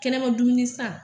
Kɛnɛma dumuni san